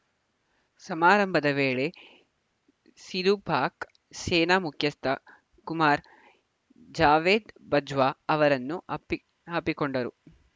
ಸಮಾರಂಭದ ವೇಳೆ ಸಿಧು ಪಾಕ್‌ ಸೇನಾ ಮುಖ್ಯಸ್ಥ ಕುಮಾರ್‌ ಜಾವೇದ್‌ ಬಜ್ವಾ ಅವರನ್ನು ಅಪ್ಪಿಕೊಂಡರರು